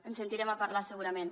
en sentirem a parlar segurament